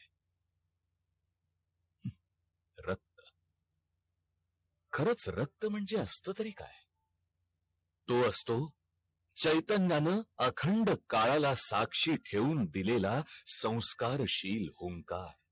खरंच रख्त म्हणजे असत तरी काय तो असतो चैतन्यानं अखंड काळाला साक्षी ठेऊन दिलेला स्वन्स्कर शील ओंकार